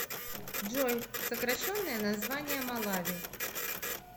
джой сокращенное название малави